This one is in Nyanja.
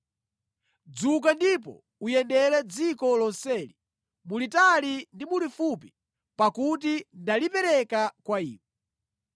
Dzuka ndipo uyendere dziko lonseli mulitali ndi mulifupi pakuti ndalipereka kwa iwe.”